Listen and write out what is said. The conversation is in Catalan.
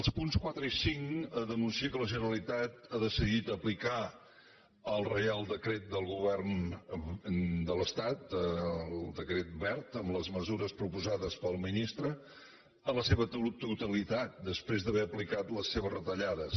els punts quatre i cinc denuncien que la generalitat ha decidit aplicar el reial decret del govern de l’estat el decret wert amb les mesures proposades pel ministre en la seva totalitat després d’haver aplicat les seves retallades